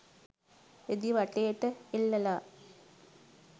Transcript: රෙදි වටේට එල්ලලා.